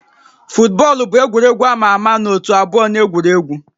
Futbọọlụ bụ egwuregwu a ma ama na ótú abụọ na-egwuri egwu